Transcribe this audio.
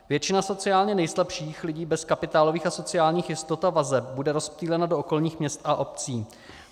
Většina sociálně nejslabších lidí bez kapitálových a sociálních jistot a vazeb bude rozptýlena do okolních měst a obcí.